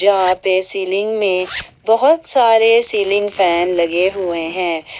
वहा पर सीलिंग में बहुत सारे सीलिंग फैन लगे हुए हैं।